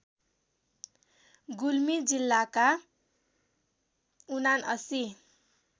गुल्मी जिल्लाका ७९